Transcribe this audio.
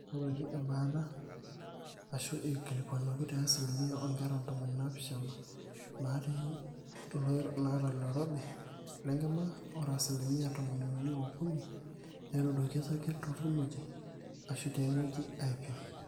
eing'oruaki embaata aashu eikilikuanuaki te asilimia oonkera ntomoni naapishana naata ilooirobi lenkima. ore asilimia tomoniuni ookuni netuuduoki osarge torkimojino aashu tiawueji aaipim